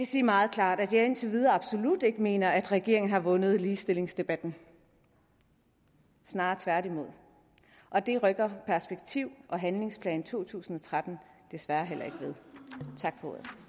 sige meget klart at jeg indtil videre absolut ikke mener at regeringen har vundet ligestillingsdebatten snarere tværtimod og det rykker perspektiv og handlingsplan to tusind og tretten desværre heller ikke ved tak